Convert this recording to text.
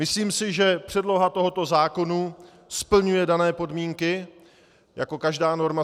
Myslím si, že předloha tohoto zákona splňuje dané podmínky, jako každá norma.